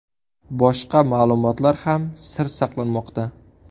Boshqa ma’lumotlar ham sir saqlanmoqda.